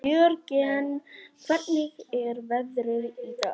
Jörgen, hvernig er veðrið í dag?